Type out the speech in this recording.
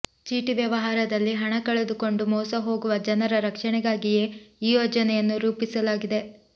ಚೀಟಿ ವ್ಯವಹಾರದಲ್ಲಿ ಹಣ ಕಳೆದುಕೊಂಡು ಮೋಸಹೋಗುವ ಜನರ ರಕ್ಷಣೆಗಾಗಿಯೇ ಈ ಯೋಜನೆಯನ್ನು ರೂಪಿಸಲಾಗಿದೆ